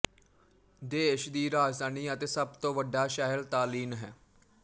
ਦੇਸ਼ ਦੀ ਰਾਜਧਾਨੀ ਅਤੇ ਸਭ ਤੋਂ ਵੱਡਾ ਸ਼ਹਿਰ ਤਾਲਿੰਨ ਹੈ